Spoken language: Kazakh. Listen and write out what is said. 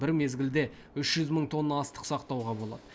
бір мезгілде үш жүз мың тонна астық сақтауға болады